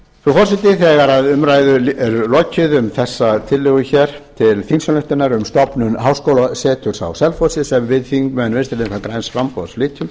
forseti þegar umræðu er lokið um þessa tillögu til þingsályktunar um stofnun háskólaseturs á selfossi sem við þingmenn vinstri hreyfingarinnar græns framboðs flytjum